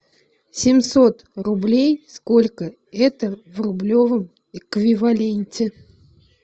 семьсот рублей сколько это в рублевом эквиваленте